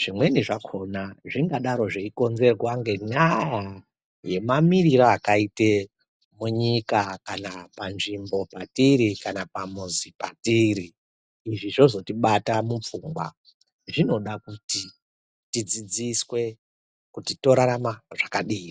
Zvimweni zvakona zvingadaro zvichikonzerwa nendaya yemamiriro akaite munyika kana panzvimbo patiri kana pamuzi patiri, izvi zvozotibata mupfungwa. Zvinoda kuti tidzidziswe kuti tozorarama zvakadii?